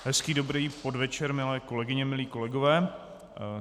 Hezký dobrý podvečer, milé kolegyně, milí kolegové.